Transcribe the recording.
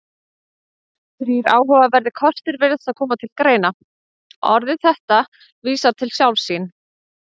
Þrír áhugaverðir kostir virðast þá koma til greina: Orðið þetta vísar til sjálfs sín.